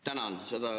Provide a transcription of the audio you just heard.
Tänan!